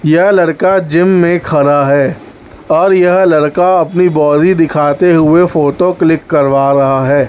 यह लड़का जिम में खड़ा है और यह लड़का अपनी बॉडी दिखाते हुए फोटो क्लिक करवा रहा है।